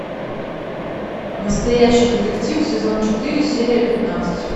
настоящий детектив сезон четыре серия пятнадцать